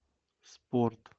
спорт